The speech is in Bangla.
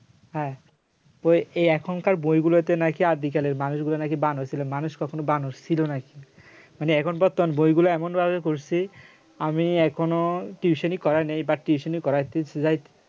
হ্যাঁ ওই এ এখনকার বইগুলোতে নাকি আদিকালের মানুষগুলো নাকি বানর ছিল মানুষ কখনো বানর ছিল নাকি মানে এখন বর্তমানে বইগুলা এমন ভাবে করছে আমি এখনো টিউশনি করা নেই but টিউশনি করাইতেছে যাই